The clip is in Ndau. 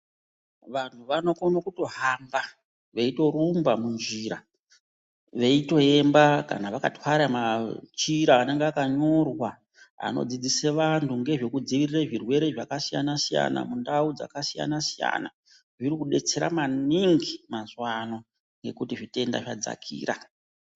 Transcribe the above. Vantu vanokone akutohamba veitorumba munjira veitoemba kana vakarwara machira anonga akanyorwa anodzidzisa vantu nezvekudziirire zvirwere zvakasiyana siyana mundau dzakasiyana siyana zvirikudetsera maningi mazuwana nekuti zvitenda zvadzakaira.